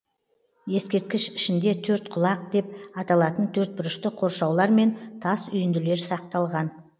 ескерткіш ішінде төрткұлақ деп аталатын төртбұрышты қоршаулар мен тас үйінділер сақталған